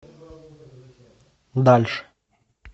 дальше